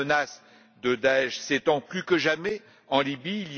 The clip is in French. La menace de Daech s'étend plus que jamais en Libye.